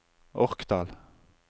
Orkdal